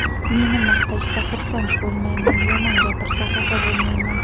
Meni maqtashsa, xursand bo‘lmayman, yomon gapirsa xafa bo‘lmayman.